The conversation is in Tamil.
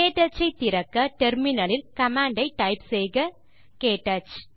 க்டச் ஐ திறக்க டெர்மினல் லில் கமாண்ட் டைப் செய்க க்டச்